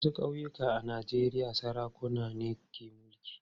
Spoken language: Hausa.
Wasu ƙauyuka a Najeriya sarakuna ne ke mulki.